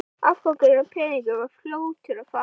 Afgangurinn af peningunum var fljótur að fara.